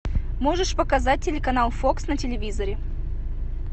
можешь показать телеканал фокс на телевизоре